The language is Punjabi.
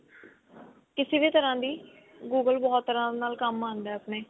ਕਿਸੇ ਵੀ ਤਰਾਂ ਦੀ google ਬਹੁਤ ਤਰ੍ਹਾਂ ਨਾਲ ਕੰਮ ਆਉਂਦਾ ਆਪਣੇ